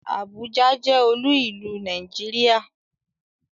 Àbújá jẹ́ olú ìlú Nàìjíríà